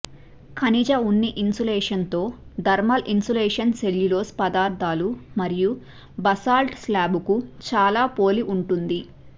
ఖనిజ ఉన్ని ఇన్సులేషన్ తో థర్మల్ ఇన్సులేషన్ సెల్యులోజ్ పదార్థాలు మరియు బసాల్ట్ స్లాబ్లకు చాలా పోలి ఉంటుంది